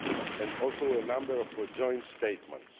and also a number of joint statements.